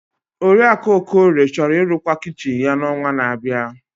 Oriakụ Okorie chọrọ ịrụkwa kichin ya n'ọnwa na-abịa.